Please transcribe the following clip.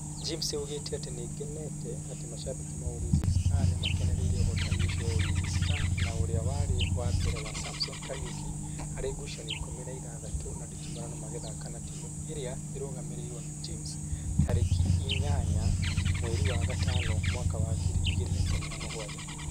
James augite atĩ: "Nĩngenete atĩ mashabĩki ma Ulinzi Stars, nĩmakenereire ũhotani ũcio wa Ulinzi Stars na ũrĩa warĩ wa mbere wa Samson Kariuki harĩ ngucanio ikũmi na ithathatũ cia nditimurano magĩthaka na timũ ĩria ĩrugamĩrĩirwo nĩ James, tarĩki inyaya mweri wa gatano mwaka wa ngiri igĩrĩ na ikũmi na mũgwanja.